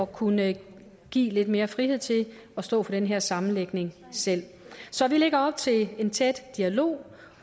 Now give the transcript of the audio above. kunne give lidt mere frihed til at stå for den her sammenlægning selv så vi lægger op til en tæt dialog